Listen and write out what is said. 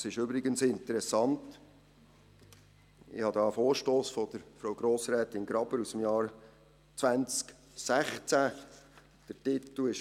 Es ist übrigens interessant, ich habe einen Vorstoss von Frau Grossrätin Graber aus dem Jahr 2016 hier.